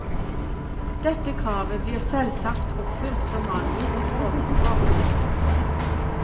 Dette kravet blir selvsagt oppfylt som angitt ovenfor.